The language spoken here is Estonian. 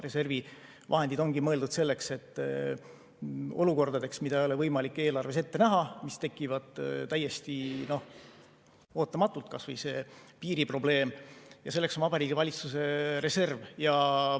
Reservi vahendid ongi mõeldud olukordadeks, mida ei ole võimalik eelarves ette näha, mis tekivad täiesti ootamatult, kas või see piiriprobleem, ja selleks on Vabariigi Valitsuse reserv.